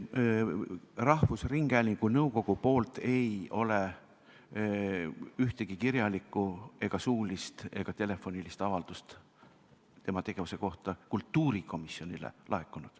Rahvusringhäälingu nõukogult ei ole ühtegi kirjalikku ega suulist ega telefonitsi tehtud avaldust tema tegevuse kohta kultuurikomisjonile laekunud.